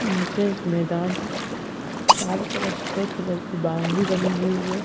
नीचे एक मैदान है चारों तरफ सफेद कलर की बाउंड्री बनी हुई है।